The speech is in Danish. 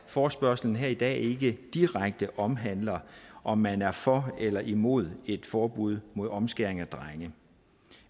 forespørgslen her i dag ikke direkte omhandler om man er for eller imod et forbud mod omskæring af drenge